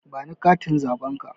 Ba ni katin zaɓen ka!